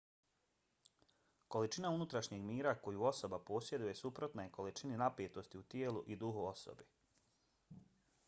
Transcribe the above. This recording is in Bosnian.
količina unutrašnjeg mira koju osoba posjeduje suprotna je količini napetosti u tijelu i duhu osobe